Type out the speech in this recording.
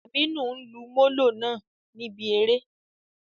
Aminu n lu Molo naa nibi ere.